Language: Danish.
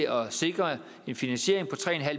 at sikre en finansiering på tre